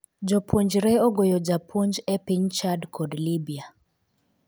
Jopuonjre ogoyo jopuonj e piny Chad kod Libya